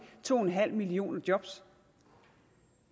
to en halv milloner job